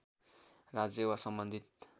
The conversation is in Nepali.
राज्य वा सम्बन्धित